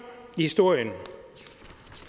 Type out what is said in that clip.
i historien